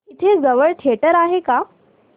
इथे जवळ थिएटर आहे का